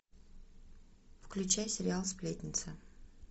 включай сериал сплетница